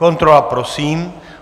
Kontrola prosím.